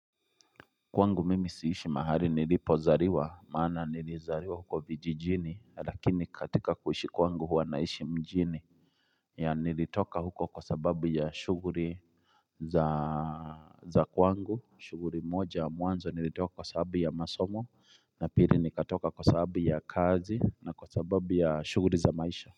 Kwangu mimi siishi mahali nilipozaliwa maana nilizaliwa huko vijijini na lakini katika kuishi kwangu huwa naishi mjini ya nilitoka huko kwa sababu ya shughuli za kwangu shughuli moja mwanzo nilitoka kwa sababu ya masomo na pili nikatoka kwa sababu ya kazi na kwa sababu ya shughuli za maisha.